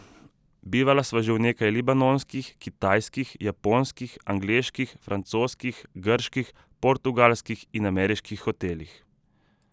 Bivala sva že v nekaj libanonskih, kitajskih, japonskih, angleških, francoskih, grških, portugalskih in ameriških hotelih.